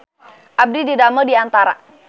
Abdi didamel di Antara